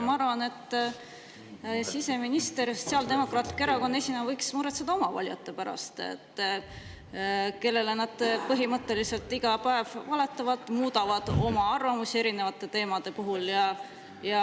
Ma arvan, et siseminister Sotsiaaldemokraatliku Erakonna esimehena võiks muretseda oma valijate pärast, kellele nad põhimõtteliselt iga päev valetavad ja muudavad oma arvamusi erinevate teemade puhul.